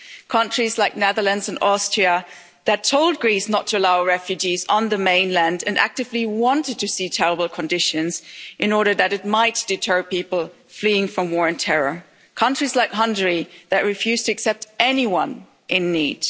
Countries like the Netherlands and Austria told Greece not to allow refugees on the mainland and actively wanted to see terrible conditions in order that it might deter people fleeing from war and terror, and countries like Hungary refused to accept anyone in need.